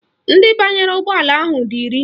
Ndị banyere ụgbọala ahụ dị iri